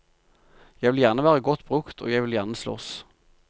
Jeg vil gjerne være godt brukt, og jeg vil gjerne slåss.